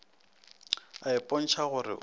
a ipotša go re o